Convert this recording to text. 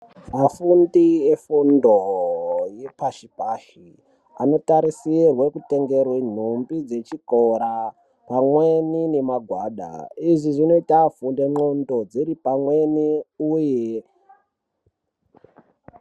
Vafundi efundo yepashi pashi anotarisirwe kutengerwe nhumbi dzechikora pamweni nemagwada, izvi zvinoita afunde ndxondo dziri pamweni uye..